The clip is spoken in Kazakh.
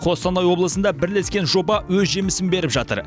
қостанай облысында бірлескен жоба өз жемісін беріп жатыр